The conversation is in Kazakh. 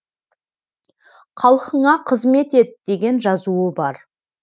халқыңа қызмет ет деген жазуы бар